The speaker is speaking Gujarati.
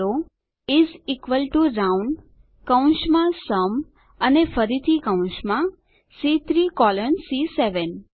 ટાઈપ કરો ઇસ ઇક્વલ ટીઓ રાઉન્ડ કૌંસમાં સુમ અને ફરીથી કૌંસમાં સી3 કોલન સી7